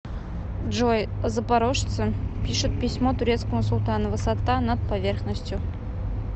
джой запорожцы пишут письмо турецкому султану высота над поверхностью